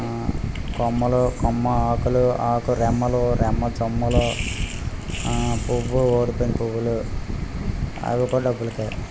ఆ కొమ్మలు కొమ్మ ఆకులు ఆకు రెమ్మలు రెమ్మ చెమ్మలు పూవ్వు రోడ్డు పైన పూవ్వులు అవి కుడా డబ్బులుకే.